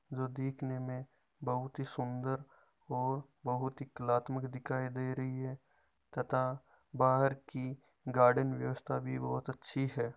जो दिखने में बहुत ही सुदर और बहुत ही कलात्मक दिखाई दे रही है तथा बाहर की गार्डन व्यवस्था बहुत ही अच्छी है।